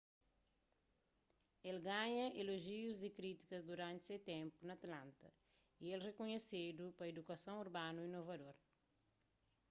el ganha elojius di krítika duranti se ténpu na atlanta y el rikunhesedu pa idukason urbanu inovador